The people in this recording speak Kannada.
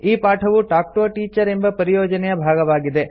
ಈ ಪಾಠವು ಟಾಲ್ಕ್ ಟಿಒ a ಟೀಚರ್ ಎಂಬ ಪರಿಯೋಜನೆಯ ಭಾಗವಾಗಿದೆ